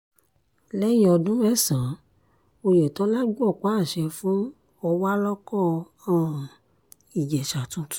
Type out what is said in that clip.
lẹ́yìn ọdún mẹ́sàn-án oyetola gbọpá àṣẹ fún ọ̀wálọ́kọ̀ um ìjẹsà tuntun